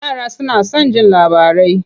Yara suna son jin labarai.